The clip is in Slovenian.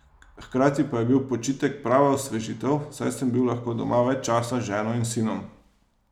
Hkrati pa je bil počitek prava osvežitev, saj sem bil lahko doma več časa z ženo in sinom.